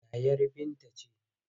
Yayar Binta ce.